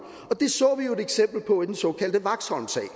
det så vi jo et eksempel på i den såkaldte vaxholmsag